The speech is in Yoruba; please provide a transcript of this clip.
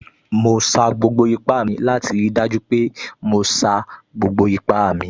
Mo sa gbogbo ipá mi láti rí i dájú pé mo sa gbogbo ipá mi